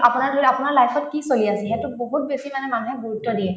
আপোনাৰ ধৰিলওক আপোনাৰ life ত কি চলি আছে সেইটোত বহুত বেছি মানে মানুহে গুৰুত্ব দিয়ে